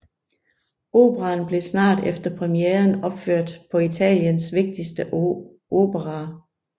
Operaen blev snart efter premieren opført på Italiens vigtigste operaer